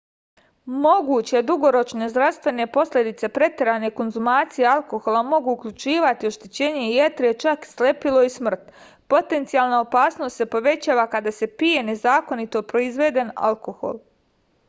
moguće dugoročne zdravstvene posledice preterane konzumacije alkohola mogu uključivati oštećenje jetre i čak slepilo i smrt potencijalna opasnost se povećava kada se pije nezakonito proizveden alkohol